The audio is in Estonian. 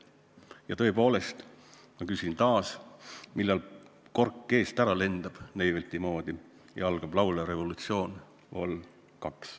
Ja tõepoolest, ma küsin taas Neivelti moodi, millal kork eest ära lendab ja algab laulev revolutsioon vol 2.